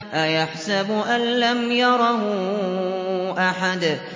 أَيَحْسَبُ أَن لَّمْ يَرَهُ أَحَدٌ